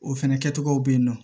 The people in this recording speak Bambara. O fɛnɛ kɛcogow be yen nɔ